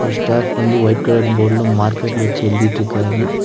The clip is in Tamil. ஸ்டாஃப் வந்து ஒயிட் கலர் போர்டுல மார்க்கர் வச்சு எழுதிட்ருக்காரு.